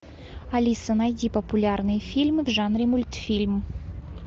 алиса найди популярные фильмы в жанре мультфильм